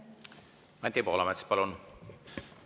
Anti Poolamets, palun!